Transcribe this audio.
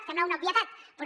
sembla una obvietat però